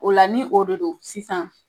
O la ni o de do sisan